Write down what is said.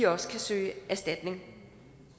også kan søge erstatning